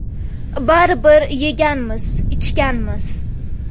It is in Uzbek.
Baribir yeganmiz, ichganmiz.